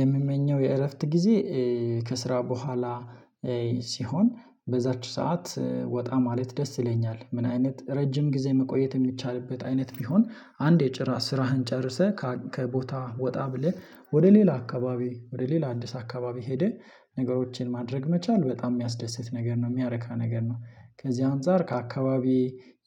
የምመኘው የእረፍት ጊዜ ከስራ በኋላ ሲሆን በዛች ሰዓት ወጣ ማለት ደስ ይለኛል። ምን አይነት ረጅም ጊዜ መቆየት የሚቻልበት አይነት ቢሆን አንድ የጭራ ስራህን ጨርሰህ ከቦታህ ጣ ብለህ ወደ ሌላ አካባቢ ወደ ሌላ አዲስ አካባቢ ሄደህ ነገሮቼን ማድረግ መቻል በጣም የሚያስደስት ነገር ነው የሚያረካ ነገር ነው። ከዚህ አንፃር ከአካባቢ